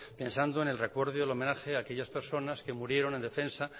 pensando en el recuerdo y el homenaje a aquellas personas que murieron en defensa